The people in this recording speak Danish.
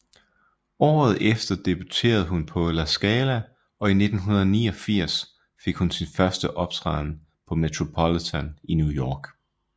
Året efter debuterede hun på La Scala og 1989 fik hun sin første optræden på Metropolitan i New York